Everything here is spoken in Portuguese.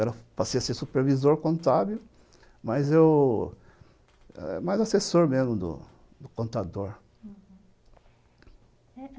Eu passei a ser supervisor contábil, mas eu... mais assessor mesmo, do do contador, uhum.